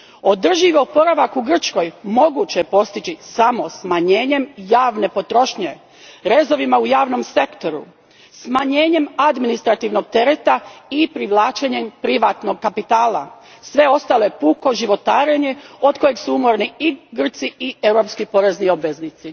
Održivi oporavak u Grčkoj moguće je postići samo smanjenjem javne potrošnje, rezovima u javnom sektoru, smanjenjem administrativnog tereta i privlačenjem privatnog kapitala. Sve ostalo je puko životarenje od kojeg su umorni i Grci i europski porezni obveznici.